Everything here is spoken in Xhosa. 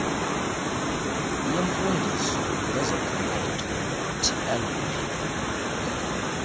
yemfundiso ngezokhenketho tlp